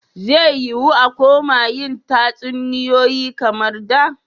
Zai yi wuya a koma yin tatsuniyoyi kamar da.